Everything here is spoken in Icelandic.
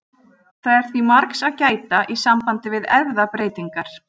Það er því margs að gæta í sambandi við erfðabreytingar.